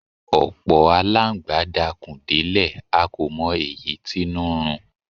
Ọ̀pọ̀ alángbá dakùn délẹ̀ a kò mọ èyí tínú n run